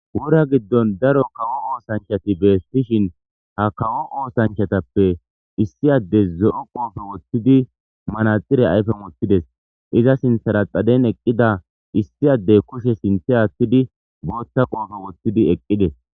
Wora giddon daro kawo oosanchati beessishin ha kawo oosanchatappe issiyade zo'o qoofe woththidi manaxire ayfe moththides iza sinthara xaden eqqida issiyaddey kushe sinthe aaththidi boothta qoofe woththidi eqqides